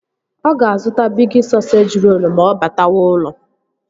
Ọ ga-azụta Bigi sọseji rolu ma ọ batawa ụlọ